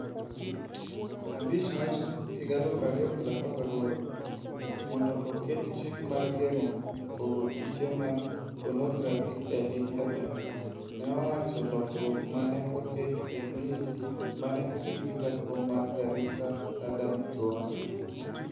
5 mar 2018 mondo oket chik mar geng'o pogo piche mag ponografi e Intanet", ne owacho lokruok ma ne oket e Bill ma ne ochiw gi jakom mar Garissa Adan Duale.